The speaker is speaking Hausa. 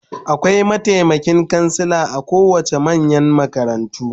Akwai mataimakin kansila a kowace manyan makarantu